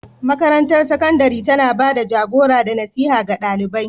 Makarantar sakandare tana ba da jagora da nasiha ga ɗalibai.